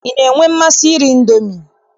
Ị na-enwe mmasị iri Indomi?